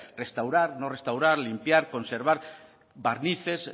restaurar no restaurar limpiar conservar barnices